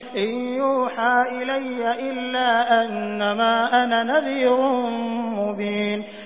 إِن يُوحَىٰ إِلَيَّ إِلَّا أَنَّمَا أَنَا نَذِيرٌ مُّبِينٌ